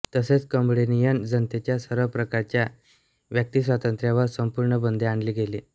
तसेच कंबोडियन जनतेच्या सर्व प्रकारच्या व्यक्तिस्वातंत्र्यावर संपूर्ण बंदी आणली गेली